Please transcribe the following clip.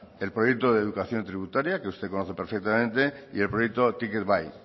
el proyecto de educación tributaria que usted conoce perfectamente y el proyecto ticket bai